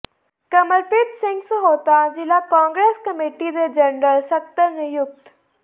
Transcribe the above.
ਕਮਲਪ੍ਰੀਤ ਸਿੰਘ ਸਹੋਤਾ ਜ਼ਿਲ੍ਹਾ ਕਾਂਗਰਸ ਕਮੇਟੀ ਦੇ ਜਨਰਲ ਸਕੱਤਰ ਨਿਯੁਕਤ